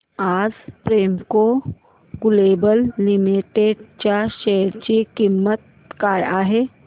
आज Premco global limited च्या share ची किंमत काय आहे